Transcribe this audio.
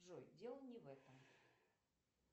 джой дело не в этом